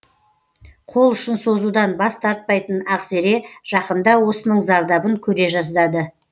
қол ұшын созудан бас тартпайтын ақзере жақында осының зардабын көре жаздады